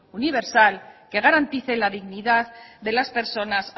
universal que garantice la dignidad de las personas